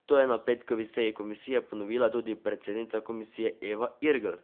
To je na petkovi seji komisije ponovila tudi predsednica komisije Eva Irgl.